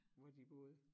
Hvor de boede